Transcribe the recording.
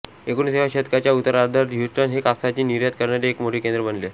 एकोणिसाव्या शतकाच्या उत्तरार्धात ह्युस्टन हे कापसाची निर्यात करणारे एक मोठे केंद्र बनले